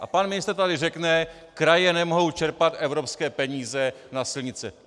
A pan ministr tady řekne: "Kraje nemohou čerpat evropské peníze na silnice."